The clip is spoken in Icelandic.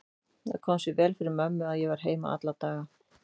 Það kom sér vel fyrir mömmu að ég var heima við alla daga.